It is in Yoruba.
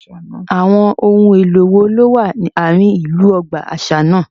Àwọn ohun èlò wo ló wà ní àárín ìlú ọgbà àṣà náà